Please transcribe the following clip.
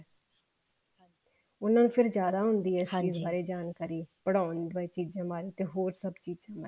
ਉਹਨਾ ਨੂੰ ਫ਼ੇਰ ਜਿਆਦਾ ਆ ਇਸ ਚੀਜ਼ ਬਾਰੇ ਜਾਣਕਾਰੀ ਪੜਾਉਣ ਦੀਆਂ ਚੀਜ਼ਾਂ ਬਾਰੇ ਜਾਂ ਹੋਰ ਸਭ ਚੀਜ਼ਾਂ ਬਾਰੇ